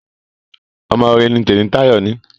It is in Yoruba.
Ọmọ rere mí Temitayo ní.